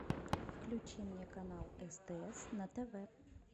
включи мне канал стс на тв